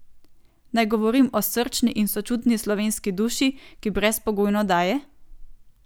Naj govorim o srčni in sočutni slovenski duši, ki brezpogojno daje?